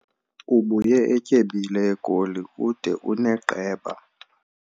Ubuye etyebile eGoli ude uneqeba.